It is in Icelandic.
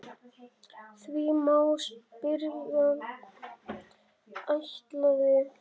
Því má spyrja: ætlaði